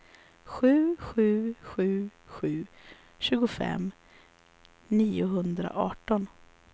sju sju sju sju tjugofem niohundraarton